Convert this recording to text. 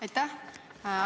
Aitäh!